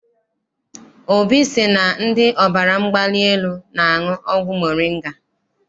Obi sị na ndị ọbara mgbali elu na-aṅụ ọgwụ moringa.